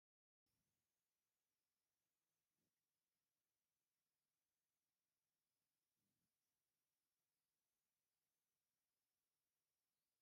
ዋው ደስ ክብል ገዛ !!!! እዚ ገዛ እዚ ናይ ሓደ ሃፍታም ዝሰረሖ እዩ። እዚ ሃፍታም በዓል ገዛ ኣበይ ይመስለኩም ?